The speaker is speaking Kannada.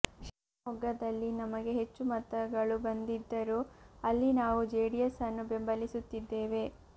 ಶಿವಮೊಗ್ಗದಲ್ಲಿ ನಮಗೆ ಹೆಚ್ಚು ಮತಗಳು ಬಂದಿದ್ದರೂ ಅಲ್ಲಿ ನಾವು ಜೆಡಿಎಸ್ ಅನ್ನು ಬೆಂಬಲಿಸುತ್ತಿದ್ದೇವೆ